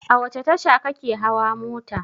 A wace tasha ka ke hawa mota?